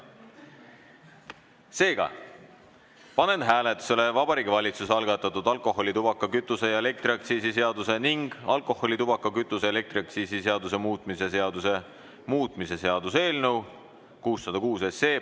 Seega panen hääletusele Vabariigi Valitsuse algatatud alkoholi-, tubaka-, kütuse- ja elektriaktsiisi seaduse ning alkoholi-, tubaka-, kütuse- ja elektriaktsiisi seaduse muutmise seaduse muutmise seaduse eelnõu 606.